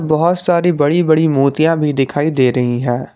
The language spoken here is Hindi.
बहोत सारी बड़ी बड़ी मोतियां भी दिखाई दे रही है।